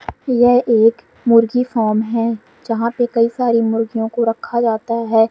यह एक मुर्गी फार्म है जहां पे कई सारी मुर्गियों को रखा जाता है।